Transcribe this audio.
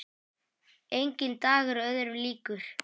Enginn dagur öðrum líkur.